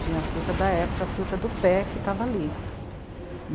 Tinha a fruta da época, a fruta do pé, que estava ali.